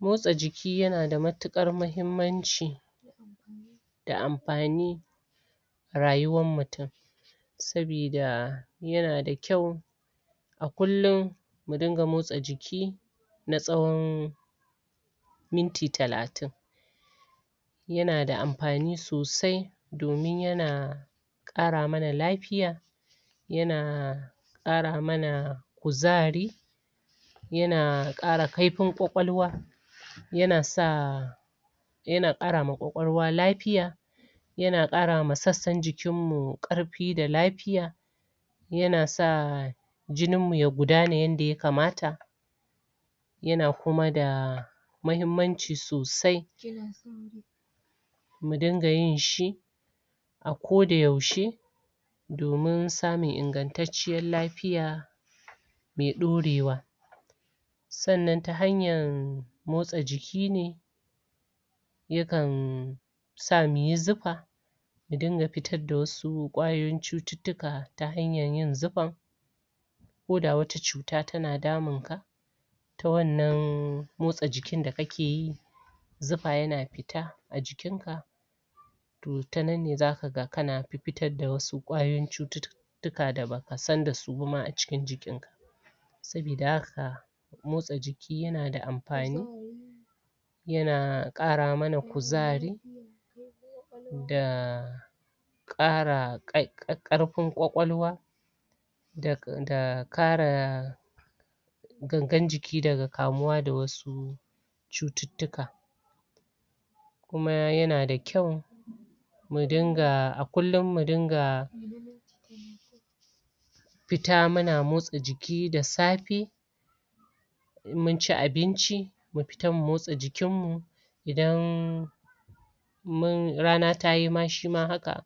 Motsa jiki, ya na da matukar mahimanci da amfani rayuwan mutum sabida yana da kyau a kunlum mu dinga motsa jiki na tsawon minti talatin ya na da amfani sosai domin ya na qara mana lafiya ya na qara mana kuzari ya na qara kaifin kwakwalwa ya na sa ya na qara ma kwakwalwa lafiya ya na qara ma sassan jikin mu karfi da lafiya ya na sa jinin mu ya gudana yada ya kamata ya na kuma da mahimanci sosai mu dinga yin shi a ko da yaushe domin samun ingantaciyar lafiya mai durewa sannan ta hanya motsa jiki ne ya kan sa mu yi zufa ya dinga fitar da wasu kwayoyin cututuka ta hanyan yin zufa ko da wata cuta ta na damun ka ta wannan motsa jikin da ka ke yi zufa ya na fita a jikin ka toh, tannan ne za ka gan, ka na fu'fita da wasu kwayoyin cutu- tuka, da baka san da su ba ma a cikin jikin ka sabida haka motsa jiki, ya na da amfani ya na qara mana kuzari da qara karfin kwakwalwa da qara gangan jiki daga kamuwa da wasu cututuka kuma ya na da kyau mu dinga a kunlum mu dinga fita muna motsa jiki da safe in mun ci abinci mu fita, mu motsa jikin mu idan mun, rana ta yi ma, shi ma haka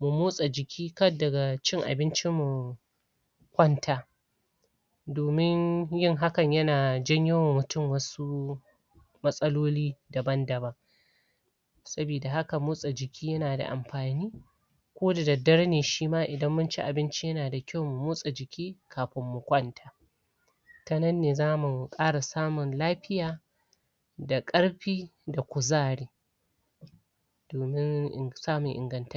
mu motsa jiki, kar daga cin abinci mu kwanta domin yin hakan, ya na janyo ma mutum wasu matsaloli daban daban sabida haka, motsa jikin ya na da amfani ko dadare ne, shi ma idan mun ci abinci, ya na da kyau mu motsa jiki kafin mu kwanta ta nan ne zamu qara samun lafiya da karfi da kuzari domin samun inganta